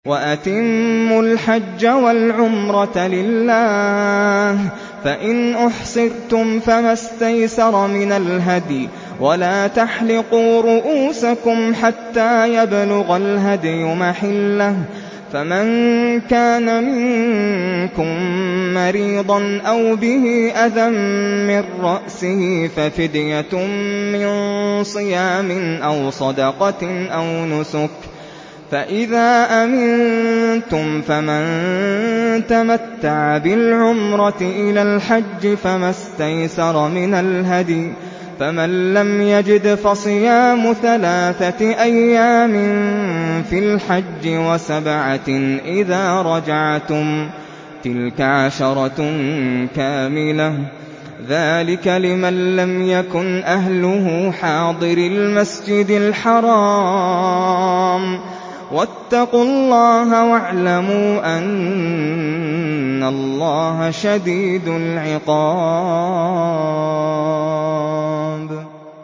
وَأَتِمُّوا الْحَجَّ وَالْعُمْرَةَ لِلَّهِ ۚ فَإِنْ أُحْصِرْتُمْ فَمَا اسْتَيْسَرَ مِنَ الْهَدْيِ ۖ وَلَا تَحْلِقُوا رُءُوسَكُمْ حَتَّىٰ يَبْلُغَ الْهَدْيُ مَحِلَّهُ ۚ فَمَن كَانَ مِنكُم مَّرِيضًا أَوْ بِهِ أَذًى مِّن رَّأْسِهِ فَفِدْيَةٌ مِّن صِيَامٍ أَوْ صَدَقَةٍ أَوْ نُسُكٍ ۚ فَإِذَا أَمِنتُمْ فَمَن تَمَتَّعَ بِالْعُمْرَةِ إِلَى الْحَجِّ فَمَا اسْتَيْسَرَ مِنَ الْهَدْيِ ۚ فَمَن لَّمْ يَجِدْ فَصِيَامُ ثَلَاثَةِ أَيَّامٍ فِي الْحَجِّ وَسَبْعَةٍ إِذَا رَجَعْتُمْ ۗ تِلْكَ عَشَرَةٌ كَامِلَةٌ ۗ ذَٰلِكَ لِمَن لَّمْ يَكُنْ أَهْلُهُ حَاضِرِي الْمَسْجِدِ الْحَرَامِ ۚ وَاتَّقُوا اللَّهَ وَاعْلَمُوا أَنَّ اللَّهَ شَدِيدُ الْعِقَابِ